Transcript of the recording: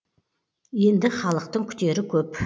енді халықтың күтері көп